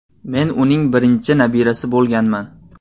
Men uning birinchi nabirasi bo‘lganman.